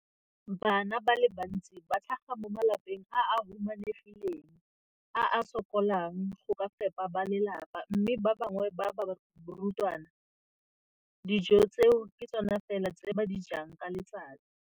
Bana ba le bantsi ba tlhaga mo malapeng a a humanegileng a a sokolang go ka fepa ba lelapa mme ba bangwe ba barutwana, dijo tseo ke tsona fela tse ba di jang ka letsatsi.